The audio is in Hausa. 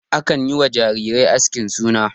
Akan yi wa jarirai askin suna.